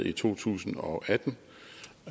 i to tusind og femten